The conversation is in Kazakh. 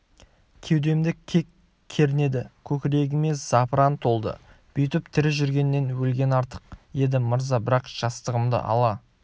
кеудемді кек кернеді көкірегіме запыран толды бүйтіп тірі жүргеннен өлген артық еді мырза бірақ жастығымды ала